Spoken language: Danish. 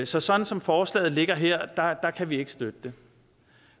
så sådan som forslaget ligger her kan vi ikke støtte det